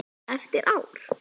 Eftir ár?